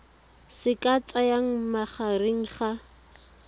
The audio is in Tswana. se ka tsayang magareng ga